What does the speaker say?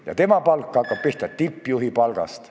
Ja tema palk hakkab pihta tippjuhi palgast.